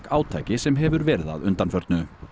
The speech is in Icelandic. átaki sem hefur verið að undanförnu